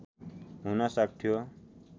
हुन सक्थ्यो